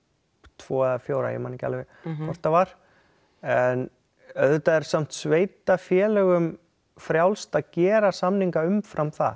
tveggja eða fjögurra ég man ekki alveg hvort það var en auðvitað er samt sveitarfélögum frjálst að gera samninga umfram það